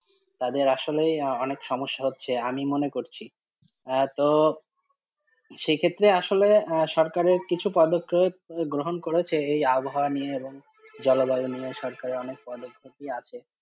তাদের আসলেই অনেক সমস্যা হচ্ছে আমি মনে করছি হ্যাঁ তো সেই ক্ষেত্রে আসলে সরকারের কিছু পদক্ষেপ গ্রহণ করেছে এই আবহাওয়া নিয়ে এবং জলবায়ু নিয়ে সরকারের অনেক পদক্ষেপই আছে।